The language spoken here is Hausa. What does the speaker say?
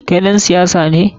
Kai ɗan siyasa ne?